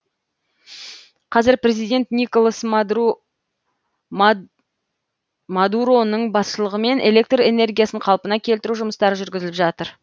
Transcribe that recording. қазір президент николас мадуроның басшылығымен электр энергиясын қалпына келтіру жұмыстары жүргізіліп жатыр